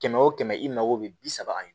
Kɛmɛ wo kɛmɛ i mago bɛ bi saba ye